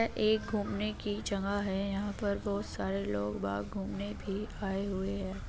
एक घूमने की जगह है | यहाँ पर बहुत सारे लोग बाग घूमने भी आए हुए है |